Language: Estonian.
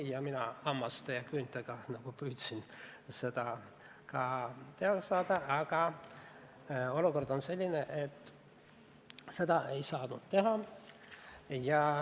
Mina püüdsin seda hammaste ja küüntega ka teoks tehtuks saada, aga olukord on selline, et seda ei saadud teha.